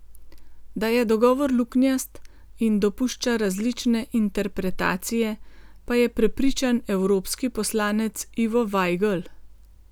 Da je dogovor luknjast in dopušča različne interpretacije, pa je prepričan evropski poslanec Ivo Vajgl.